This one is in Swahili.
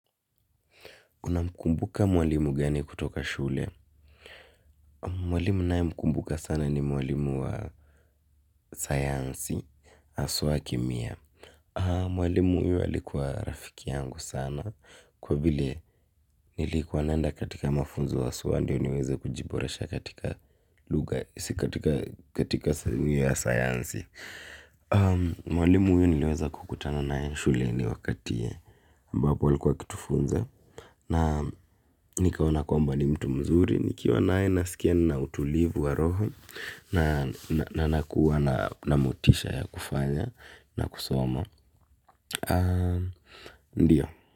Unamkumbuka mwalimu gani kutoka shule? Mwalimu ninaye mkumbuka sana ni mwalimu wa sayansi, asuwa kimia. Mwalimu huyu alikua rafiki yangu sana, kwa vile nilikuwa naenda katika mafunzo wa suwa, ndio niweze kujiboresha katika luga, isi katika sayansi. Mwalimu huyu niliweza kukutana naye shule ni wakati, ambapo alikua kutufunza. Na nikaona kwamba ni mtu mzuri. Nikiwa naye na skia nina utulivu wa roho. Na nakuwa na motisha ya kufanya na kusoma. Ndiyo.